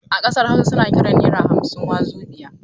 A ƙasar Hausa su na kiran naira hamsin "Wazobia".